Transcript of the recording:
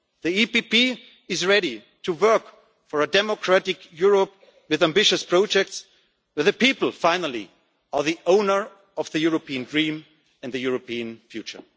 a lot. The PPE is ready to work for a democratic Europe with ambitious projects, but in the end the people are the owners of the European dream and the European